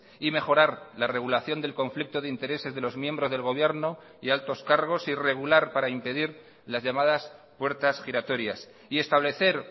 y mejorar la regulación del conflicto de intereses de los miembros del gobierno y altos cargos y regular para impedir las llamadas puertas giratorias y establecer